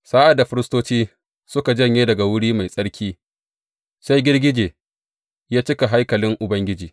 Sa’ad da firistoci suka janye daga Wuri Mai Tsarki, sai girgije ya cika haikalin Ubangiji.